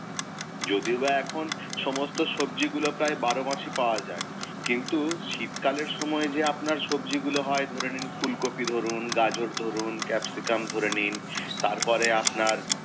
যদিও বা এখন সমস্ত সবজি গুলো বারো মাসই পাওয়া যায়, কিন্তু শীতকালের সময় যে আপনার সবজিগুলো হয় ধরে নিন, ফুলকফি ধরুন গাজর ধরুন capsicum ধরে নিন, তারপরে আপনার,